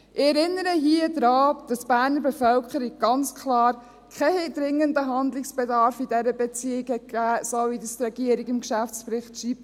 Ich erinnere hier daran, dass die Berner Bevölkerung ganz klar keinen dringenden Handlungsbedarf in dieser Beziehung gesehen hat, so wie es die Regierung in ihrem Geschäftsbericht schreibt.